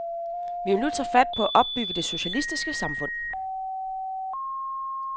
Vi vil nu tage fat på at opbygge det socialistiske samfund.